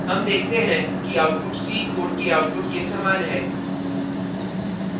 हम देखते हैं कि output c कोड के output के समान है